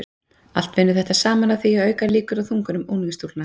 Allt vinnur þetta saman að því að auka líkur á þungunum unglingsstúlkna.